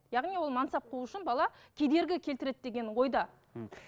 яғни оны мансап қуу үшін бала кедергі келтіреді деген ойда мхм